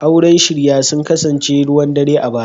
Auren shirya sun kasance ruwan dare a baya.